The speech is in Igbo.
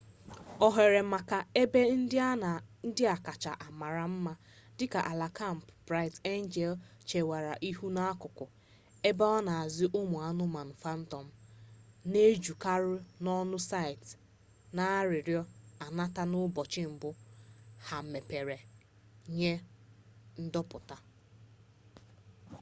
ohere maka ebe ndị a kacha mara ama dịka ala kampụ bright angel chewere ihu n'akụkụ ebe a na-azụ ụmụ anụmanụ phantom na-ejukarụ n'ọnụ site n'arịrịọ anatara n'ụbọchị mbụ ha mepere nye ndopụta